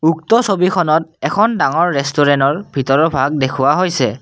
উক্ত ছবিখনত এখন ডাঙৰ ৰেষ্টুৰেন্তৰ ভিতৰৰ ভাগ দেখুওৱা হৈছে।